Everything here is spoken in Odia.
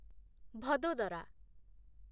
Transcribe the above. ଭଦୋଦରା